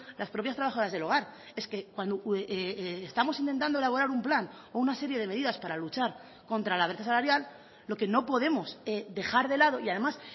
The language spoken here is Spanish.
las propias trabajadas del hogar es que cuando estamos intentando elaborar un plan o una serie de medidas para luchar contra la brecha salarial lo que no podemos dejar de lado y además